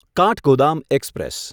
Kathgodam express